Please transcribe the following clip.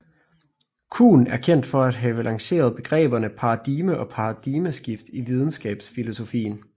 Kuhn er kendt for at have lanceret begrebene paradigme og paradigmeskifte i videnskabsfilosofien